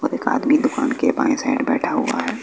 और एक आदमी दुकान के बाएं साइड बैठा हुआ है।